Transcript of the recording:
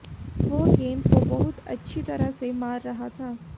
वह गेंद को बहुत अच्छी तरह से मार रहा था